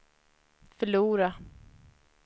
förlora